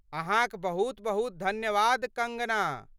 अहाँक बहुत बहुत धन्यवाद कंगना!